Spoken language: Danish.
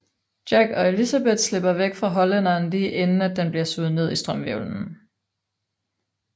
Jack og Elizabeth slipper væk fra Hollænderen lige inden at den bliver suget ned i strømhvirvlen